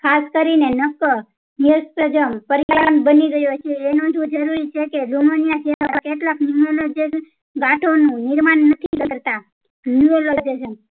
ખાસ કરીને પરિણામ બની ગયો છે એનાથી જરોરિ છે કે numonia જેવા કેટલાક numonojen ગાંઠો નું નિર્માણ નથી કરતા nurologetation